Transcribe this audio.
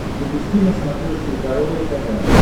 запусти на смотрешке здоровое тв